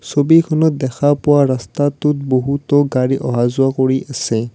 ছবিখনত দেখা পোৱা ৰাস্তাটোত বহুতো গাড়ী অহা যোৱা কৰি আছে।